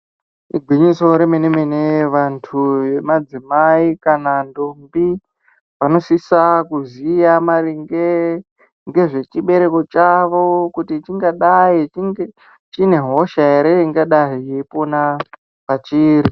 Igwinyiso remene mene, vantu vemadzimai kana ntombi vanosisa kuziya maringe ngezvechibereko chavo kuti chingadai chinge chiine hosha ere ingadai yeipona pachiri.